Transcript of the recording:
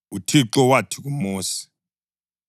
UThixo wathi kuMosi,